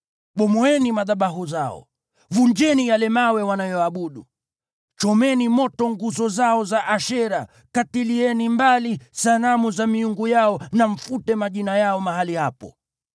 Bomoeni madhabahu zao, vunjeni yale mawe wanayoabudu, chomeni moto nguzo zao za Ashera; katilieni mbali sanamu za miungu yao na mfute majina yao mahali hapo.